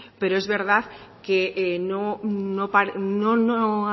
es verdad que no